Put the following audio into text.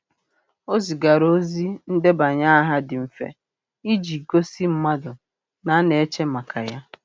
O zigara ozi ndebanye aha dị mfe iji gosi mmadụ na a na-eche maka ya.